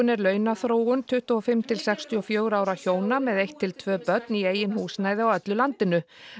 er launaþróun tuttugu og fimm til sextíu og fjögurra ára hjóna með eitt til tvö börn í eigin húsnæði á öllu landinu